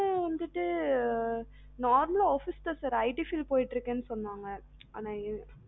இப்பம் வந்துட்டு normal ஆ office தான் sirITfiled போய்ட்டு இருக்காங்க